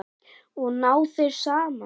Og ná þeir saman?